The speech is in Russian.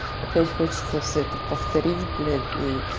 опять хочется все это повторить блять и